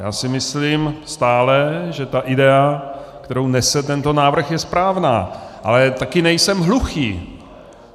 Já si myslím stále, že ta idea, kterou nese tento návrh, je správná, ale také nejsem hluchý.